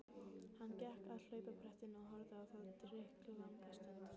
Hann gekk að hlaupabrettinu og horfði á það drykklanga stund.